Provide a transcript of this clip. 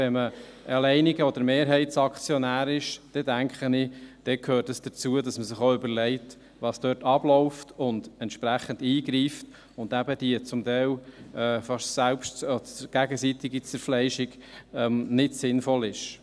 Wenn man alleiniger Aktionär oder Mehrheitsaktionär ist, dann, denke ich, gehört es auch dazu, dass man sich auch überlegt, was dort abläuft, und entsprechend eingreift, und dass eben die zum Teil gegenseitige Zerfleischung nicht sinnvoll ist.